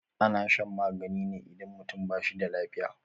Ana shan magani ne idan mutum ba shi da lafiya.